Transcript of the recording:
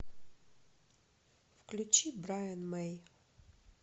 включи брайан мэй